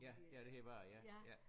Ja ja det hed var ja ja